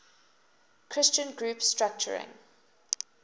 christian group structuring